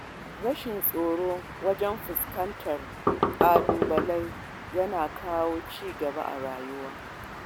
Rashin tsoro wajen fuskantar ƙalubale yana kawo ci gaba a rayuwa.